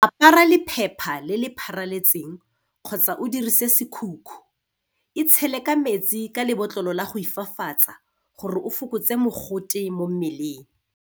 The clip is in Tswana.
Apara lephepha le le pharaletseng kgotsa o dirise sekhukhu. Itshele ka metsi ka lebotlolo la go ifafatsa gore o fokotse mogote mo mmeleng.